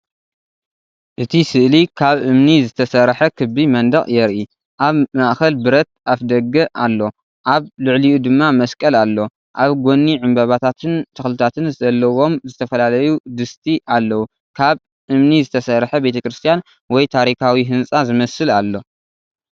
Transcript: እቲ ስእሊ ካብ እምኒ ዝተሰርሐ ክቢ መንደቕ የርኢ። ኣብ ማእከል ብረት ኣፍደገ ኣሎ፤ ኣብ ልዕሊኡ ድማ መስቀል ኣሎ። ኣብ ጎኒ ዕምባባታትን ተኽልታትን ዘለዎም ዝተፈላለዩ ድስቲ ኣለዉ። ካብ እምኒ ዝተሰርሐ ቤተ ክርስቲያን ወይ ታሪኻዊ ህንጻ ዝመስል ኣሎ።